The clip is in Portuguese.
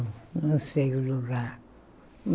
Não sei o lugar.